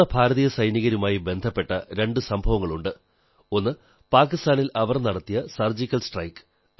നമ്മുടെ ഭാരതീയ സൈനികരുമായി ബന്ധപ്പെട്ട രണ്ടു സംഭവങ്ങളുണ്ട് ഒന്ന് പാകിസ്ഥാനിൽ അവർ നടത്തിയ മിന്നലാക്രമണം